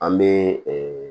An bɛ